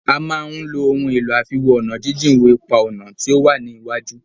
A máà fí ohun èlò àfiwo-ọ̀nàjíjìn wo ipa-ọ̀nà tí o wá ní iwájú.